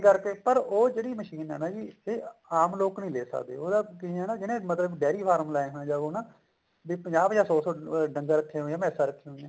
ਕਰਕੇ ਪਰ ਉਹ ਜਿਹੜੀ ਮਸ਼ੀਨ ਹੈ ਨਾ ਜੀ ਉਹ ਆਮ ਲੋਕ ਨੀ ਲਈ ਸਕਦੇ ਉਹ ਨਾ ਜਿਹਨੇ ਮਤਲਬ ਡਾਇਰੀ ਫਾਰਮ ਲਾਏ ਹੋਏ ਨੇ ਉਹ ਨਾ ਵੀ ਪੰਜਾਹ ਪੰਜਾਹ ਸੋ ਸੋ ਡੰਗਰ ਰੱਖੇ ਹੋਏ ਨੇ ਮੈਸਾਂ ਰੱਖੀਆਂ ਹੋਈਆਂ ਨੇ